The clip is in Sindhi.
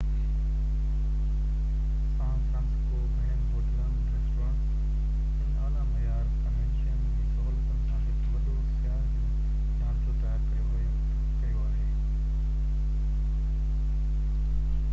سان فرانسسڪو گهڻين هوٽلن، ريسٽورينٽس، ۽ اعليٰ معيار ڪنوينشن جي سهولتن سان هڪ وڏو سياح جو ڍانچو تيار ڪيو آهي